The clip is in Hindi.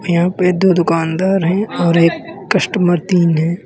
यहां पे दो दुकानदार है और एक कस्टमर तीन है।